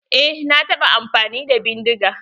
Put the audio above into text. Eh na taɓa amfani da bindiga.